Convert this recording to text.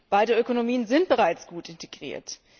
Beide Ökonomien sind bereits gut integriert.